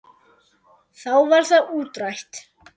Þá var það útrætt.